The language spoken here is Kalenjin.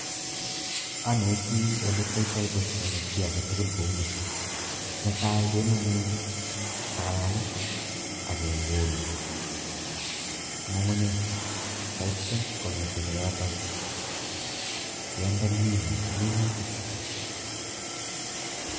Aneti ole kiyaitoi boisioni chi age tugul kou ni netai kenamei takalkalit ak kewul kukunyek taityo kongetegei yotok kende minu minutik.